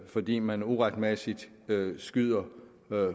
fordi man uretmæssigt skyder